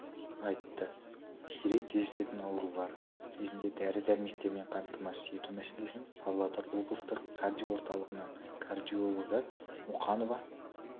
айтты сирек кездесетін аурулар кезінде дәрі-дәрмектермен қамтамасыз ету мәселесін павлодар облыстық кардио орталығының кардиологы мұқанова